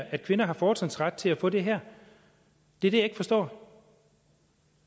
at kvinder har fortrinsret til at få det her det er det jeg ikke forstår